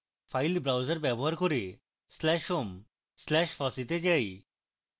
file browser ব্যবহার করে slash home slash fossee তে যাই